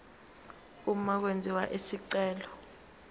uma kwenziwa isicelo